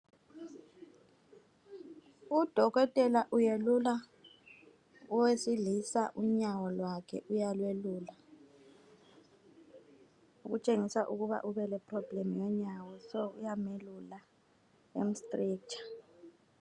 Udokotela uyelula owesilisa unyawo lwakhe uyalwelula okutshengisa ukuba ubeleproblem yonyawo so uyamelula emu strecher